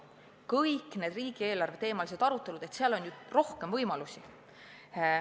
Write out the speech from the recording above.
Kõik need riigieelarveteemalised arutelud – seal on ju rohkem võimalusi.